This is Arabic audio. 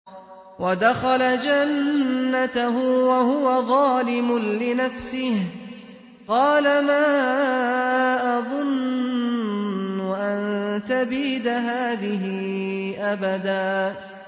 وَدَخَلَ جَنَّتَهُ وَهُوَ ظَالِمٌ لِّنَفْسِهِ قَالَ مَا أَظُنُّ أَن تَبِيدَ هَٰذِهِ أَبَدًا